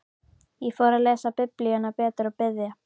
Ég fór að lesa Biblíuna betur og biðja.